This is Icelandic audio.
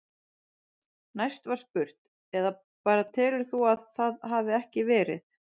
Næst var spurt: Eða bara telur þú að það hafi ekki verið?